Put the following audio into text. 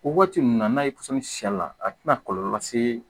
O waati ninnu na n'a ye pɔsɔni siy'a la a tɛna kɔlɔlɔ lase